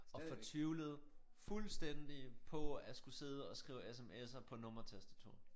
Og fortvivlede fuldstændig på at skulle sidde og skrive sms'er på nummertastatur